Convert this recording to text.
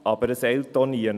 Aber es eilt auch nicht.